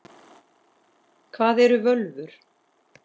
Hvað eru völvur?